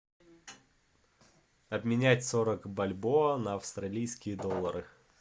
обменять сорок бальбоа на австралийские доллары